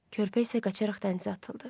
Körpə isə qaçaraq dənizə atıldı.